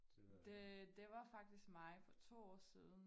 Det det var faktisk mig for 2 år siden